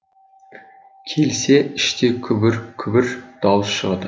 келсе іште күбір күбір дауыс шығады